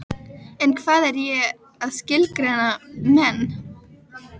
En hvað er ég að skilgreina menn?